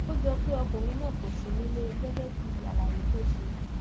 ó jọ pé ọkùnrin náà kò sí nílé gẹgẹ bíi àlàyé tó ṣe